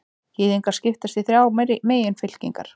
Gyðingar skipast í þrjár meginfylkingar.